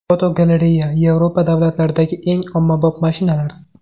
Fotogalereya: Yevropa davlatlaridagi eng ommabop mashinalar.